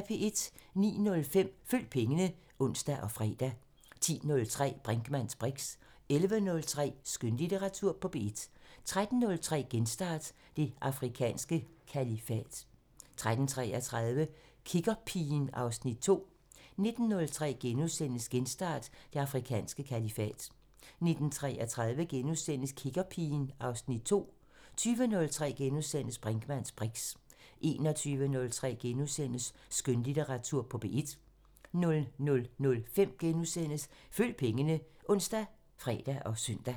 09:05: Følg pengene (ons og fre) 10:03: Brinkmanns briks 11:03: Skønlitteratur på P1 13:03: Genstart: Det afrikanske kalifat 13:33: Kiggerpigen (Afs. 2) 19:03: Genstart: Det afrikanske kalifat * 19:33: Kiggerpigen (Afs. 2)* 20:03: Brinkmanns briks * 21:03: Skønlitteratur på P1 * 00:05: Følg pengene *( ons, fre, søn)